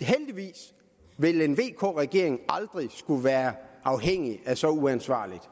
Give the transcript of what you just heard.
heldigvis vil en vk regering aldrig skulle være afhængig af et så uansvarligt